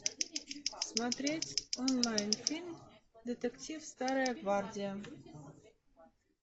смотреть онлайн фильм детектив старая гвардия